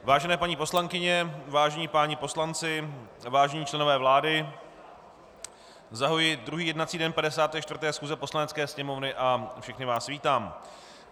Vážené paní poslankyně, vážení páni poslanci, vážení členové vlády, zahajuji druhý jednací den 54. schůze Poslanecké sněmovny a všechny vás vítám.